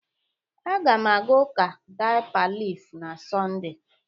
Aga m aga ụka Dipa laif na Sọnde.